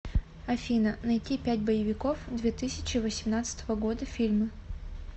афина найти пять боевиков две тысячи восемнадцатого года фильмы